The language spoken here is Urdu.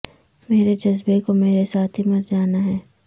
میرے جذبے کو مرے ساتھ ہی مر جانا ہے